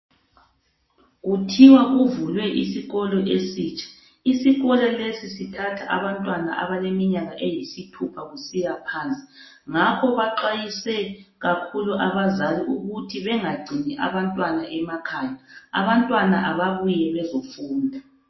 Kuthiwa kuvulwe isikolo esitsha, isikolo lesi sithatha abantwana abaleminyaka eyisithupha kusiya phansi ngakho baxwayise kakhulu abazali ukuba bengagcini abantwana emakhaya, abantwana ababuye bezofunda.